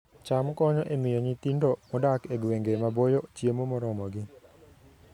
cham konyo e miyo nyithindo modak e gwenge maboyo chiemo moromogi